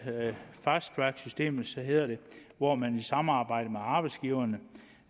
fast track systemet hedder det hvor man i samarbejde med arbejdsgiverne